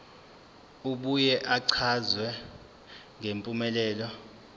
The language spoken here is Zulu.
abuye achaze ngempumelelo